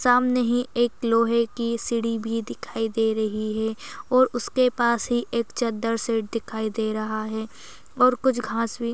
सामने ही एक लोहे की सीडी भी दिखाई दे रही है और उसके पास ही एक चद्दर सेट दिखाई दे रहा है और कुछ घास भी--